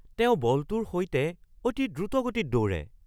তেওঁ বলটোৰ সৈতে অতি দ্ৰুতগতিত দৌৰে!